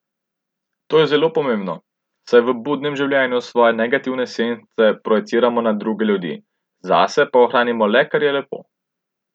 To je zelo pomembno, saj v budnem življenju svoje negativne sence projiciramo na druge ljudi, zase pa ohranimo le, kar je lepo.